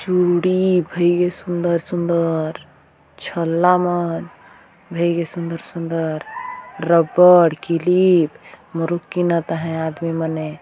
चूड़ी भइगे सुंदर सुंदर छल्ला मन भइगे सुंदर सुंदर रबर किलीप मारु की ना ता है आदमी मने --